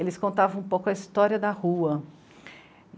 Eles contavam um pouco a história da rua.